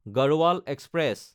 Garhwal express